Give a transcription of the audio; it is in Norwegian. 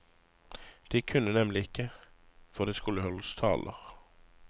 De kunne nemlig ikke, for det skulle holdes taler.